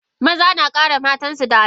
Maza na kare matansu da Al umma.